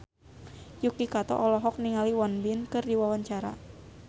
Yuki Kato olohok ningali Won Bin keur diwawancara